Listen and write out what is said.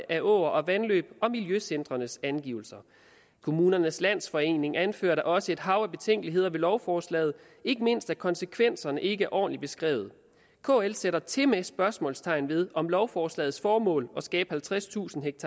af åer og vandløb og miljøcentrenes angivelser kommunernes landsforening anfører da også et hav af betænkeligheder ved lovforslaget ikke mindst at konsekvenserne ikke er ordentligt beskrevet kl sætter tilmed spørgsmålstegn ved om lovforslagets formål at skabe halvtredstusind